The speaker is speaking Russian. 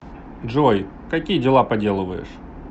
джой какие дела поделываешь